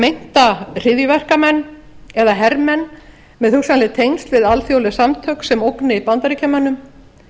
meinta hryðjuverkamenn eða hermenn með hugsanleg tengsl við alþjóðleg samtök sem ógni bandaríkjamönnum